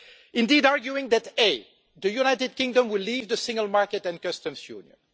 Indeed, arguing that the United Kingdom will leave the single market and customs union